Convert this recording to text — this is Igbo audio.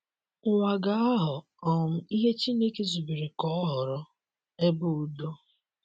Ụwa ga - aghọ um ihe Chineke zubere ka ọ ghọrọ — ebe ụdo